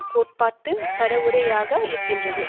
கோட்பாட்டு பரவுரைஞராக ஆகி இருக்கிறது